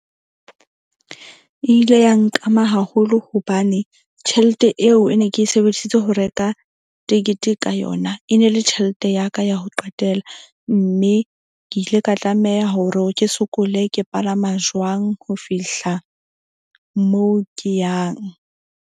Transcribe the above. E ile ya nkama haholo hobane tjhelete eo e ne ke sebedisitse ho reka tekete ka yona, e ne le tjhelete ya ka ya ho qetela. Mme ke ile ka tlameha hore ke sokole ke palama jwang. Ho fihla moo ke yang.